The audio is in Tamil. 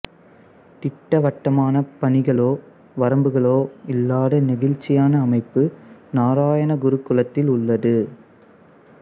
திட்டவட்டமான பணிகளோ வரம்புகளோ இல்லாத நெகிழ்ச்சியான அமைப்பு நாராயணகுருகுலத்தில் உள்ளது